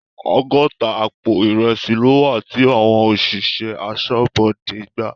Ọgọ́ta àpò ìrẹsì ló wà tí àwọn òṣìṣẹ́ aṣọ́bodè gbà.